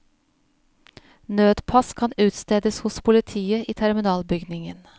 Nødpass kan utstedes hos politiet i terminalbygningen.